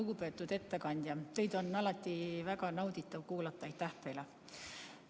Lugupeetud ettekandja, teid on alati väga nauditav kuulata, aitäh teile!